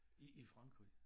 I i Frankrig